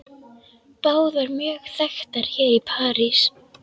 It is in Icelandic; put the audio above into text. Báðar mjög þekktar hér í París.